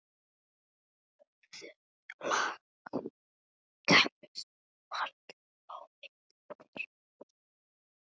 Örþunnt lak kæmist varla á milli þeirra núna.